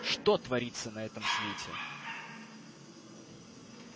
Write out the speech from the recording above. что творится на этом свете